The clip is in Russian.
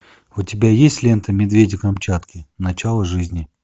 у тебя есть лента медведи камчатки начало жизни